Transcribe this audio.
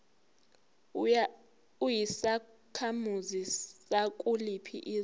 uyisakhamuzi sakuliphi izwe